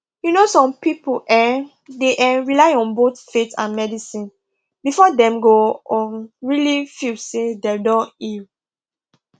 you know some people um dey um rely on both faith and medicine before dem go um really feel say dem don heal